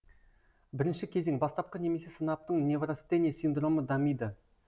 бірінші кезең бастапқы немесе сынаптың неврастения синдромы дамиды